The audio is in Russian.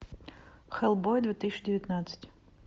хеллбой две тысячи девятнадцать